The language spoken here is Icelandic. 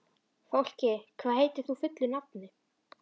Fálki, hvað heitir þú fullu nafni?